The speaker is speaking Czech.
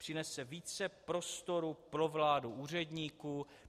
Přinese více prostoru pro vládu úředníků.